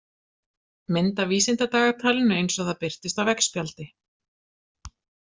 Mynd af vísindadagatlinu eins og það birtist á veggspjaldi.